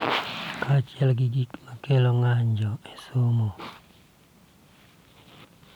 Kaachiel gi gik ma kelo ng�anjo, somo,